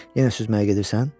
Yenə süsməyə gedirsən?